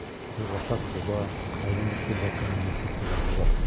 бір ортақ жоба қытайдан бір келіватқан инвестициялар да бар